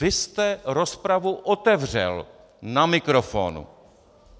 Vy jste rozpravu otevřel na mikrofonu.